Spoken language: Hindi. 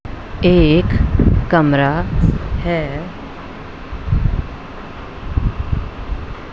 एक कमरा है।